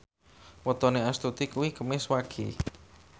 wetone Astuti kuwi Kemis Wage